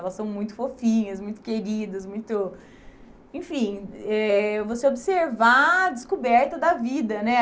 Elas são muito fofinhas, muito queridas, muito... Enfim, eh você observar a descoberta da vida, né?